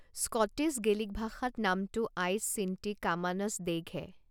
Scottish Gaelic ভাষাত নামটো আইচ শ্বিন্টি কামানাছ-ডেইঘে।